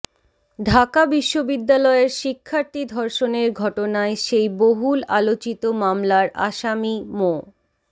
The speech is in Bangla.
ঢাকা বিশ্ববিদ্যালয়ের শিক্ষার্থী ধর্ষণের ঘটনায় সেই বহুল আলোচিত মামলার আসামি মো